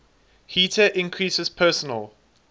heater increases personal